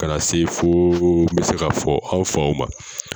Ka na se fo n bɛ se ka fɔ an faw ma.